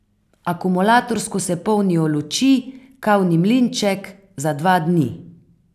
Akumulatorsko se polnijo luči, kavni mlinček, za dva dni.